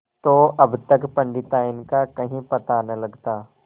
तो अब तक पंडिताइन का कहीं पता न लगता